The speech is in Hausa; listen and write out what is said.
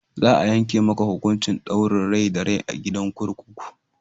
Za a yanke maka hukuncin ɗaurin rai da rai a gidan kurkuku!